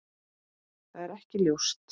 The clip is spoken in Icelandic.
Það er ekki ljóst.